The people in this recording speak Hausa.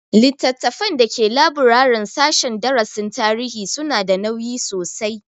Littafan da ke laburaren sashen darasin tarihi su na da nauyi sosai